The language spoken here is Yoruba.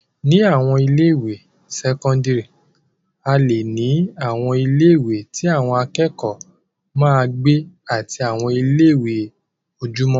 Ni àwọn ilé-ìwé sẹ́kọ́ńdírì, a leè ní àwọn ilé-ìwé tí àwọn akẹ́kọ̀ọ́ máa ń gbé àti àwọn ilé-ìwé ojúmọ́.